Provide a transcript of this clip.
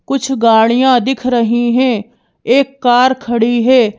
कुछ गाड़ियां दिख रही हैं एक कार खड़ी है।